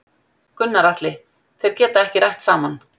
Gunnar Atli: Þeir geta ekki rætt saman?